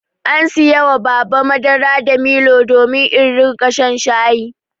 An saya wa Baba madara da milo domin in riƙa shan shayi.